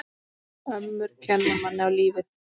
Ömmur kenna manni á lífið.